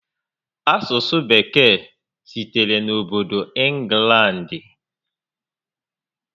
Asụsụ Bekee sitere n'obodo Ịnglandị